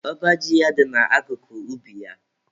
Ọba ji ya dị na akụkụ ubi ya.